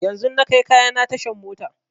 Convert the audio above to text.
Yanzun na kai kayana tashan mota